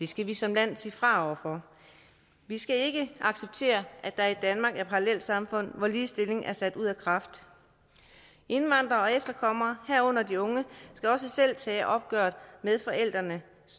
skal vi som land sige fra over for vi skal ikke acceptere at der i danmark er parallelsamfund hvor ligestilling er sat ud af kraft indvandrere og efterkommere herunder de unge skal også selv tage opgøret med forældrenes